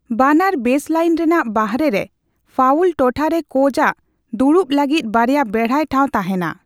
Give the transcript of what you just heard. ᱵᱟᱱᱟᱨ ᱵᱮᱥᱞᱟᱭᱤᱱ ᱨᱮᱱᱟᱜ ᱵᱟᱨᱦᱮᱨᱮ ᱯᱷᱟᱭᱩᱞ ᱴᱚᱴᱷᱟᱨᱮ ᱠᱳᱪ ᱟᱜ ᱫᱩᱲᱩᱵ ᱞᱟᱹᱜᱤᱫ ᱵᱟᱨᱭᱟ ᱵᱮᱲᱦᱟᱭ ᱴᱷᱟᱸᱣ ᱛᱟᱦᱮᱸᱱᱟ ᱾